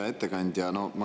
Hea ettekandja!